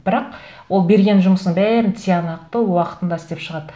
бірақ ол берген жұмысын бәрін тиянақты уақытында істеп шығады